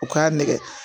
U k'a nɛgɛ